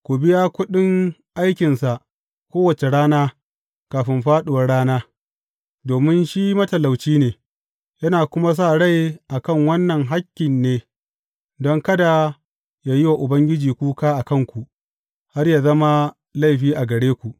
Ku biya kuɗin aikinsa kowace rana kafin fāɗuwar rana, domin shi matalauci ne, yana kuma sa rai a kan wannan hakkin ne, don kada ya yi wa Ubangiji kuka a kanku, har yă zama laifi a gare ku.